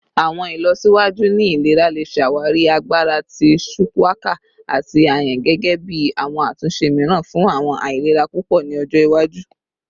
Awọn ilọsiwaju ni ilera le ṣawari agbara ti shuwaka ati ayan gẹgẹbi awọn atunṣe miiran fun awọn ailera pupọ ni ojo iwaju.